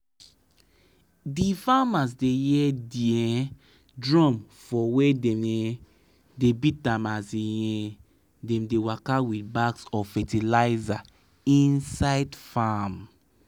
d farmers da hear da um drum for wer dem um da beat am as um dem da waka with bags of fertilizer inside farm